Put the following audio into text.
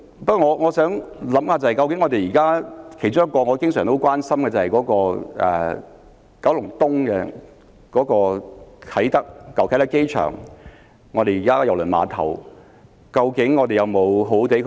不過，我想到一個我經常很關心的問題，就是究竟我們有否善用九龍東舊啟德機場的郵輪碼頭呢？